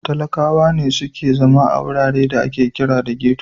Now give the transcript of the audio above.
Talakkawa su ne suke zama a wuraren da ake kira da Geto.